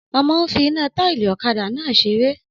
Ọmọ n fi iná táìlì ọ̀kadà náà seré